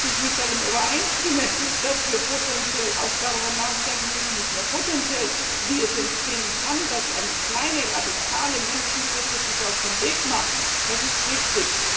Dass ich darin übereinstimme, dass wir potenziell auch darüber nachdenken müssen nicht nur potenziell wie es entstehen kann, dass eine kleine, radikale Menschengruppe sich auf den Weg macht, das ist richtig.